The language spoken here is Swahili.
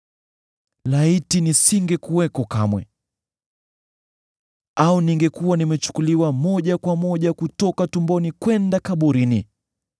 Laiti nisingekuwako kamwe, au ningekuwa nimechukuliwa moja kwa moja kutoka tumboni kwenda kaburini!